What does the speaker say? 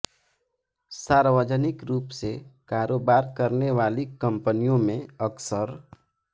सार्वजनिक रूप से कारोबार करने वाली कंपनियों में अक्सर